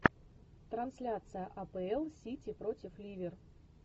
трансляция апл сити против ливер